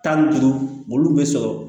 Tan ni duuru olu bɛ sɔrɔ